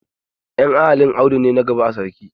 En iyalin audu ne na gaba a sarki.